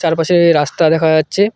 তার পাশে রাস্তা দেখা যাচ্ছে।